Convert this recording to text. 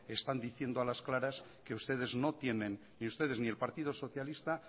están diciendo a las claras que ni ustedes ni el partido socialista